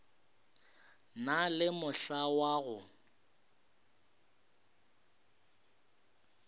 na le mohla wa go